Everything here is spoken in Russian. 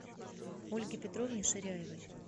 ольге петровне ширяевой